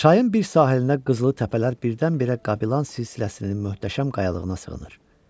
Çayın bir sahilinə qızılı təpələr birdən-birə Qabilan silsiləsinin möhtəşəm qayalığına sığınır.